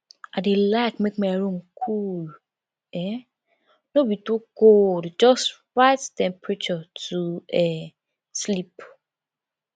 i dey like make my room cool um no be to cold just right temperature to um sleep